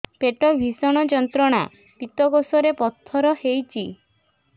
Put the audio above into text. ପେଟ ଭୀଷଣ ଯନ୍ତ୍ରଣା ପିତକୋଷ ରେ ପଥର ହେଇଚି